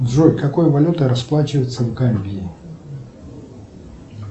джой какой валютой расплачиваются в гамбии